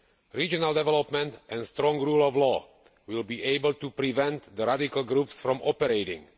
Regional development and the strong rule of law will be able to prevent the radical groups from operating.